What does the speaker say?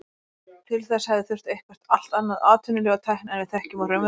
Til þess hefði þurft eitthvert allt annað atvinnulíf og tækni en við þekkjum úr raunveruleikanum.